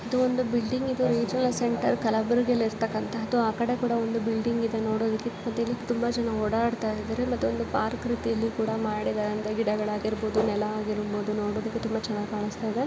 ಇದೊಂದು ಬಿಲ್ಡಿಂಗ್ ಇದೆ regional central ಕಲಬುರಗಿಯಲ್ಲಿ ಇರ್ತಕ್ಕಂತದ್ದು ಆ ಕಡೆ ಕೂಡ ಒಂದು ಬಿಲ್ಡಿಂಗ್ ಇದೆ .ನೋಡದಕ್ಕೆ ಇಲ್ಲಿ ತುಂಬಾ ಜನ ಓಡಾಡ್ತಾ ಇದ್ದಾರೆ. ಮತ್ತೆ ಒಂದು ಪಾರ್ಕ ರೀತಿಯಲ್ಲಿ ಕೂಡ ಮಾಡಿದ್ದಾರೆ ಗಿಡಗಳಾಗಿರಬಹುದು. ನೆಲ ಆಗಿರಬಹುದು ನೋಡೋದಿಕ್ಕೆ ತುಂಬಾ ಚೆನ್ನಾಗಿ ಕಾಣಿಸ್ತಾ ಇದೆ.